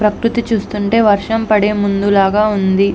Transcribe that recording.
ప్రకృతి చూస్తుంటే వర్షం పడే ముందులాగ ఉంది.